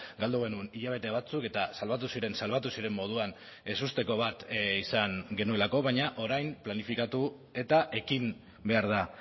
galdu genuen hilabete batzuk eta salbatu ziren salbatu ziren moduan ezusteko bat izan genuelako baina orain planifikatu eta ekin behar da